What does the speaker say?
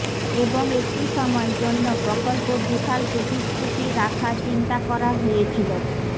এবং একটি সময় জন্য প্রকল্প বিশাল প্রতিশ্রুতি রাখা চিন্তা করা হয়েছিল